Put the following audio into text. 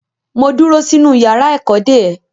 Mo dúró sínú yàrá ẹ̀kọ́ dè ẹ́.